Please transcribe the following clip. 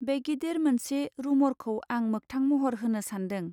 बे गिदिर मोनसे रूमर खौ आं मोगथां महर होनो सान्दों.